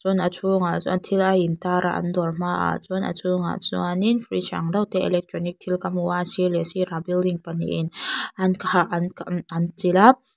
a chhungah chuan thil a in tar a an dawr hmaah chuan a chhungah chuan in fridge ang deuh te electronic thil ka hmu a sir leh sirah building pahnih in an an chilh a.